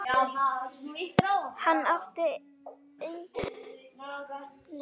Hann átti enginn nema